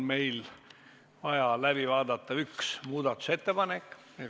Meil on läbi vaadata üks muudatusettepanek.